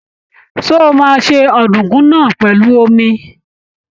Ṣé o máa se ọ̀dùnkún náà pèlú omi?